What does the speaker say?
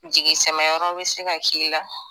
Jigi sɛmɛ bɛ se ka k' i la,